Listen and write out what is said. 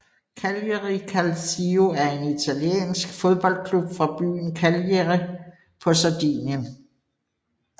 Cagliari Calcio er en italiensk fodboldklub fra byen Cagliari på Sardinien